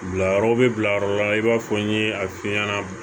Bilayɔrɔ bɛ bila yɔrɔ la i b'a fɔ n ye a fiɲɛna